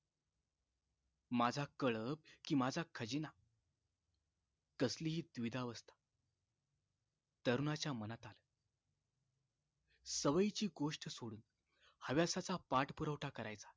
माझा कळप कि माझा खजिना कसली हि द्विधा अवस्था तरुणाच्या मनात आलं सवयीची गोष्ट सोडून हवा तसा पाठपुरावठा करायचा